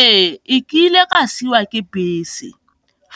Ee, e kile ka siwa ke bese,